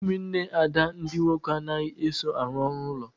Ụmụnne Ada ndị nwoke anaghị eso arụ ọrụ ụlọ